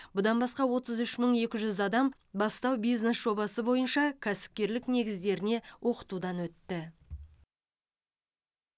бұдан басқа отыз үш мың екі жүз адам бастау бизнес жобасы бойынша кәсіпкерлік негіздеріне оқытудан өтті